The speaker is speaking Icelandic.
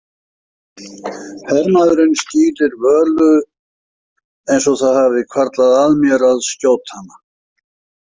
Hermaðurinn skýlir Völu eins og það hafi hvarflað að mér að skjóta hana.